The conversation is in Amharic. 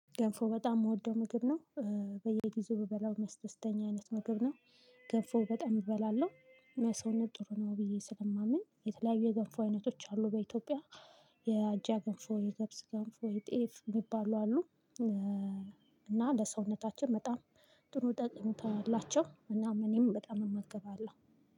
ገንፎ በጣም የምወደው ምግብ ነው። በየጊዜው የምበላው መስተስተኛ አይነት ምግብ ነው። ገንፎ በጣም እበላለሁ። ለሰውነት ጥሩ ነው ብዬ ስለማምን የተለያዩ የገንፎ አይነቶች አሉ በኢትዮጵያ የአጃ ገንፎ፣ የገብስ ገንፎ፣ የጤፍ የሚባሉ አሉ። እና ለሰውነታችን በጣም ጥሩ ጠቅሜታ አለቸው እና እኔም በጣም እመግባለሁ